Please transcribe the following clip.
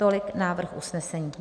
Tolik návrh usnesení.